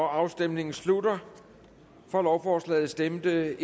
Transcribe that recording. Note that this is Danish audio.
afstemningen slutter for lovforslaget stemte